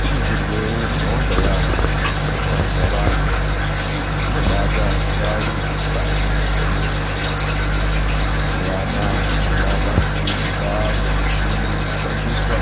Kune zvirwere zvakawanda yamho zvinotambudza vanhu ngekuti zvinobata ndau dzemukati mwemakodo emuntu mazuwa anaya zvonaka ngokuti kwaane michini yoshandiswa